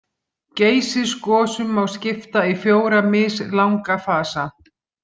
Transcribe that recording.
Geysisgosum má skipta í fjóra mislanga fasa.